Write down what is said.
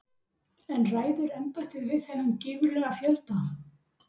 En ræður embættið við þennan gífurlega fjölda?